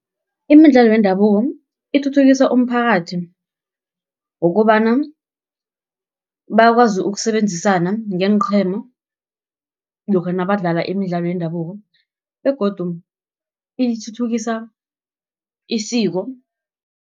Imidlalo yendabuko ithuthukisa umphakathi, ngokobana bakwazi ukusebenzisana ngeenqhema, lokha nabadlala imidlalo yendabuko, begodu ithuthukisa isiko.